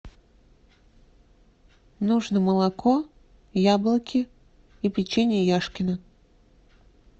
нужно молоко яблоки и печенье яшкино